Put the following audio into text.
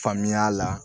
Faamuya la